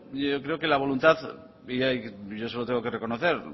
yo creo que la voluntad y eso lo tengo que reconocer